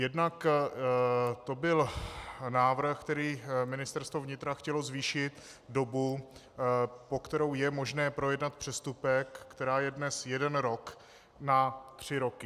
Jednak to byl návrh, kterým Ministerstvo vnitra chtělo zvýšit dobu, po kterou je možné projednat přestupek, která je dnes jeden rok, na tři roky.